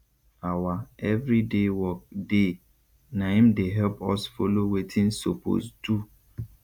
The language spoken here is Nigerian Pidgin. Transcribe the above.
awa everyday work dey na im dey help us follow wetin sopose do